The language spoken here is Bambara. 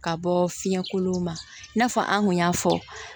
Ka bɔ fiɲɛkolon ma i n'a fɔ an kun y'a fɔ